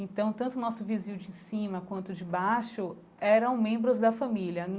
Então, tanto o nosso vizinho de cima quanto o de baixo eram membros da família.